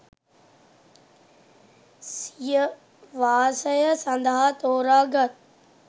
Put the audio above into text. සිය වාසය සඳහා තෝරාගත්